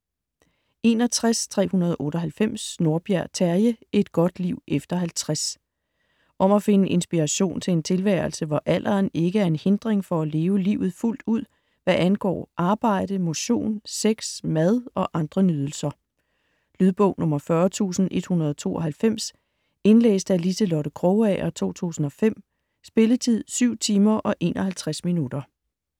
61.398 Nordberg, Terje: Et godt liv efter 50 Om at finde inspiration til en tilværelse, hvor alderen ikke er en hindring for at leve livet fuldt ud hvad angår arbejde, motion, sex, mad og andre nydelser. Lydbog 40192 Indlæst af Liselotte Krogager, 2005. Spilletid: 7 timer, 51 minutter.